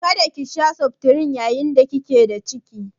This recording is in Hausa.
Kada ki sha septrin yayin da kike da ciki?